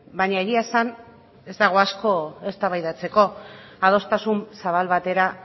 baina egia esan ez dago asko eztabaidatzeko adostasun zabal batera